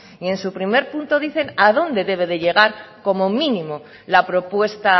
y en su primer punto dicen a dónde debe de llegar como mínimo la propuesta